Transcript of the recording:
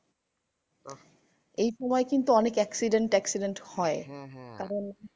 এই সময় কিন্তু অনেক accident টাক্সিডেন্ট হয়। কারণ